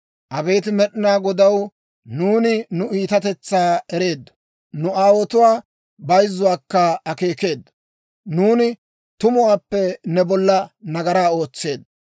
Abeet Med'inaa Godaw, nuuni nu iitatetsaa ereeddo; nu aawotuwaa bayzzuwaakka akeekeeddo; nuuni tumuwaappe ne bolla nagaraa ootseeddo.